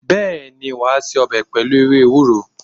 Bẹẹni, wa se ọbẹ̀ pẹlu ewé ewúro